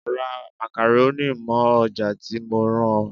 Ra makaroni mọ́ ọjà tí mo rán ọ.